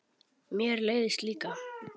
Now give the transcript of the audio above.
Mér leiðist líka.